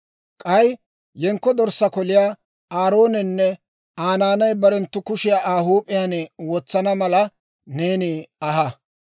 «K'ay yenkko dorssaa koliyaa Aaroonenne Aa naanay barenttu kushiyaa Aa huup'iyaan wotsana mala neeni aha.